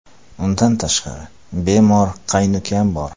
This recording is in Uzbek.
Undan tashqari, bemor qaynukam bor.